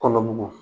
Kɔnɔ mugu